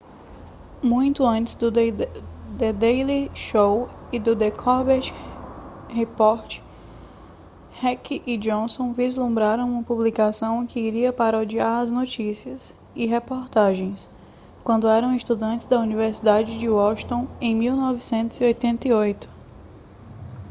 muito antes do the daily show e do the colbert report heck e johnson vislumbraram uma publicação que iria parodiar as notícias e reportagens quando eram estudantes na universidade de washington em 1988